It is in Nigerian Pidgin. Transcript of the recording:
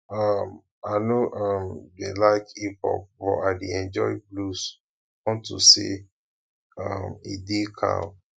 um i no um dey like hip hop but i dey enjoy blues unto say um e dey calm